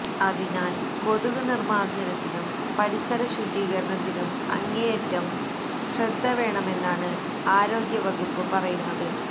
അതിനാല് കൊതുക് നിര്മ്മാര്ജ്ജനത്തിലും പരിസര ശുചീകരണത്തിലും അങ്ങേയറ്റം ശ്രദ്ധവേണമെന്നാണ് ആരോഗ്യ വകുപ്പ് പറയുന്നത്